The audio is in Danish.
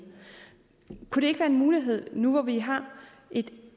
kunne det ikke være en mulighed nu hvor vi har et